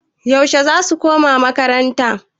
Yaushe zasu koma makaranta?